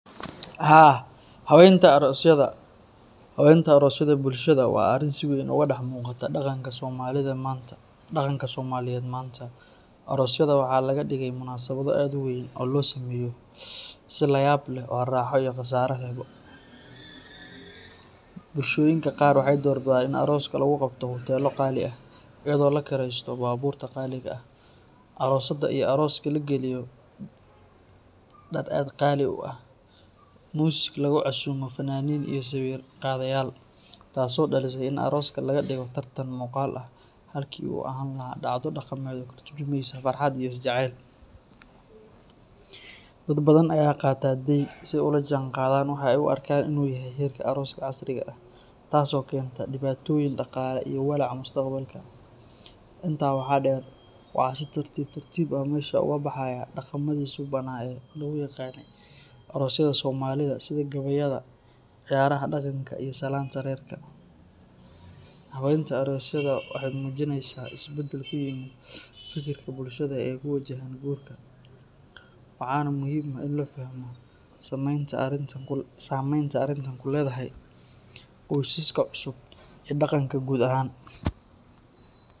Haa hawenta arosyaada bulshaada waa arin si weyn oga dax muqata daqanka somaliyeed manta arosyaada waxaa laga dige munaabaad aad u weyn oo lo sameyo si layab leh oo raxa iyo qasara, bulshoyinka qaar waxee dalbaadan in arosyaada lagu qabto hotela qali ah iyada oo la kiresto babur qali ah arosada iyo aroska lagaliyo dar aad qali u ah music lagu casumo sawir qadayal taso daliso in aroska laga digo tartan muqal ah dacdo kabilawaneyso farxaad iyo jacel, dad badan aya qatan den si ee ola jihan qadaan ama ee u arkan in u yahay tas oo kenta diqatoyin walaca mustaqbalka, intas waxaa deer waxaa si tartib tartiib ah loga baxaya daqamaadi subana ee lo yaqane arosyaada somaalida iyo daqanka gaweyada lagu yaqane, hawenta arosyaada waxee mujineysaa isbaadal weyn kujirka bulshaada ee ku wajahan gurka waxana muhiim ah in la faahmo samenta arinta qurux kuledhahay qoysiska cusub iyo daqanka gar ahan.